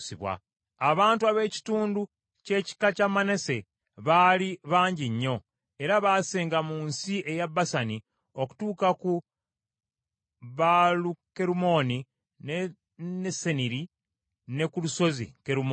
Abantu ab’ekitundu ky’ekika kya Manase baali bangi nnyo, era baasenga mu nsi eya Basani okutuuka ku Baalukerumooni, ne Seniri, ne ku lusozi Kerumooni.